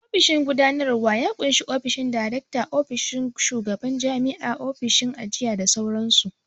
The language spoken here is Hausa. Ofishin gudanarwa ya ƙunshi ofishin direkta, ofishin shugaban jami'a, ofishin ajiya da sauran su